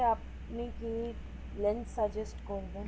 আপনি কি lens suggest করবেন